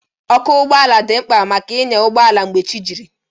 Ọkụ ụgbọala dị mkpa maka ịnya ụgbọala mgbe chi jiri